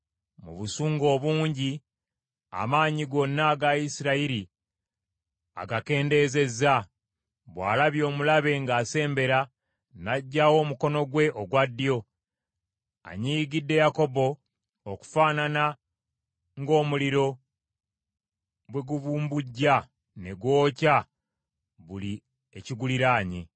Mu busungu obungi amaanyi gonna aga Isirayiri agakendeezezza; bw’alabye omulabe ng’asembera, n’aggyawo omukono gwe ogwa ddyo; anyiigidde Yakobo okufaanana ng’omuliro bwe gubumbujja ne gwokya buli ekiguliraanye.